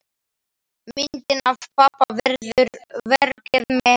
Myndin af pabba verður verkið mitt.